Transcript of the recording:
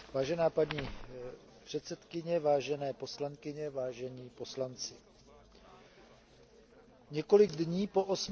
Vážená paní předsedkyně, vážené poslankyně, vážení poslanci, několik dní po